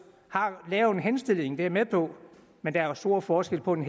har lavet en henstilling det er jeg med på men der er jo stor forskel på en